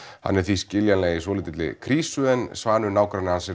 hann er því skiljanlega í svolítilli krísu en Svanur nágranni hans